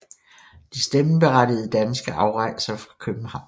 De stemmeberettigede danske afrejser fra København